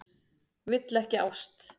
Vill ekki ást.